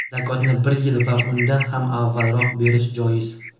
Zakotni bir yil va undan ham avvalroq berish joiz.